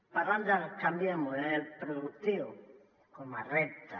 parlen del canvi de model productiu com a repte